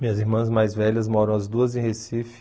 Minhas irmãs mais velhas moram as duas em Recife.